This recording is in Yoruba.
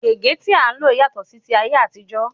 Gègé tí à ń lò yàtọ̀ sí ti ayé àtijó.